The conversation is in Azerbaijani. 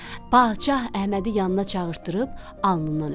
Padşah Əhmədi yanına çağırtdırıb alnından öpdü.